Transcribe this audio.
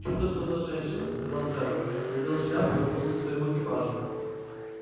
чудо что за женщина сказал джералд надел шляпу и вернулся к своему экипажу